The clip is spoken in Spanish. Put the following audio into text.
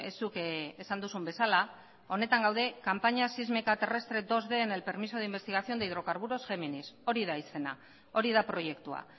zuk esan duzun bezala honetan gaude campaña sísmica terrestre bid en el permiso de investigación de hidrocarburos géminis hori da izena hori da proiektua